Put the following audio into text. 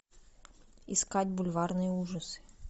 искать бульварные ужасы